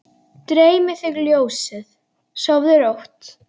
Dreymi þig ljósið, sofðu rótt!